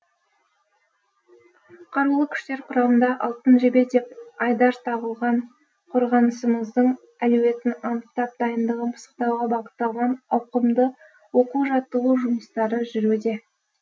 қарулы күштер құрамында алтын жебе деп айдар тағылған қорғанысымыздың әлеуетін анықтап дайындығын пысықтауға бағытталған ауқымды оқу жаттығу жұмыстары жүруде